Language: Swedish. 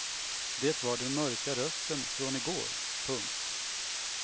Det var den mörka rösten från igår. punkt